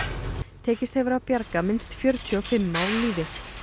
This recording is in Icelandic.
tekist hefur að bjarga minnst fjörutíu og fimm á lífi